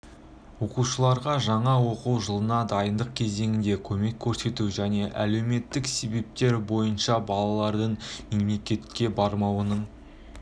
оқушыларға жаңа оқу жылына дайындық кезеңінде көмек көрсету және әлеуметтік себептер бойынша балалардың мектепке бармауының